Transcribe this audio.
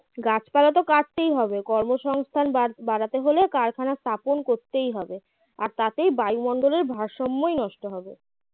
গাছপালা তো কাটতেই হবে কর্মসংস্থান বাড় বাড়াতে হলে কারখানা স্থাপন করতেই হবে আর তাতেই বায়ুমণ্ডলের ভারসাম্যই নষ্ট হবে